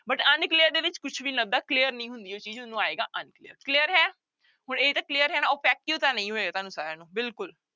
But unclear ਦੇ ਵਿੱਚ ਕੁਛ ਵੀ clear ਨਹੀਂ ਹੁੰਦੀ ਉਹ ਚੀਜ਼ ਉਹਨੂੰ ਆਏਗਾ unclear, clear ਹੈ ਹੁਣ ਇਹ ਤਾਂ clear ਹੈ ਨਾ opaque ਤਾਂ ਨਹੀਂ ਹੋਏਗਾ ਤੁਹਾਨੂੰ ਸਾਰਿਆਂ ਨੂੰ ਬਿਲਕੁਲ।